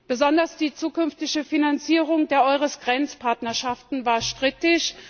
Besonders die zukünftige Finanzierung der EURES Grenzpartnerschaften war strittig.